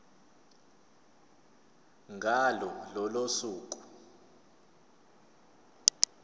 ngalo lolo suku